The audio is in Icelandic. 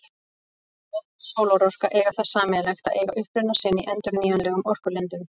Vind- og sólarorka eiga það sameiginlegt að eiga uppruna sinn í endurnýjanlegum orkulindum.